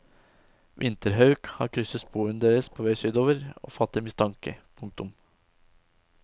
Vinterhauk har krysset sporene deres på vei sydover og fatter mistanke. punktum